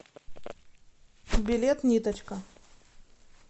билет ниточка